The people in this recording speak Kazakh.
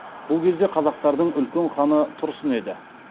бұл кезде қазақтардың үлкен ханы тұрсын еді